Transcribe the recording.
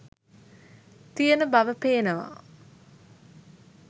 තියෙන බව පේනවා